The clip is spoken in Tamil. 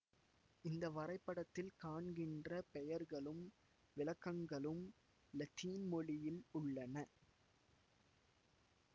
இந்த வரைபடத்தில் காண்கின்ற பெயர்களும் விளக்கங்களும் இலத்தீன் மொழியில் உள்ளன